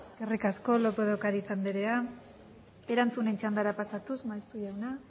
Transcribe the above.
eskerrik asko lópez de ocariz andrea erantzunen txandara pasatuz maeztu jauna